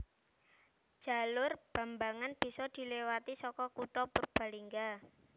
Jalur Bambangan bisa diliwati saka kutha Purbalingga